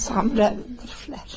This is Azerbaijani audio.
Samirə durublar.